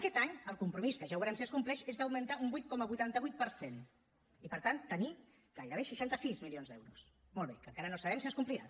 aquest any el compromís que ja veurem si es compleix és d’augmentar un vuit coma vuitanta vuit per cent i per tant tenir gairebé seixanta sis milions d’euros molt bé que encara no sabem si es complirà